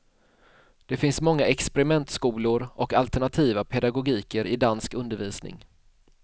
Det finns många experimentskolor och alternativa pedagogiker i dansk undervisning.